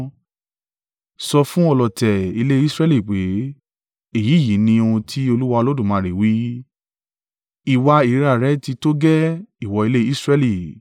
Sọ fún ọlọ̀tẹ̀ ilé Israẹli pé, ‘Èyí yìí ni ohun tí Olúwa Olódùmarè wí: Ìwà ìríra rẹ tí tó gẹ́ẹ́, ìwọ ilé Israẹli!